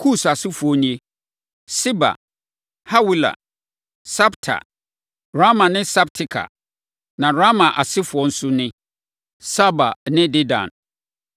Kus + 10.7 Kus aman ahodoɔ nson no nyinaa wɔ Arabia. asefoɔ nie: Seba, Hawila, Sabta, Raama ne Sabteka. Na Raama asefoɔ nso ne: Saba ne Dedan.